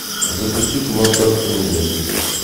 запусти кино царство небесное